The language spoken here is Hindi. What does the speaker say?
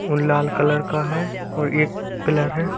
उ लाल कलर का है और एक पिलर है।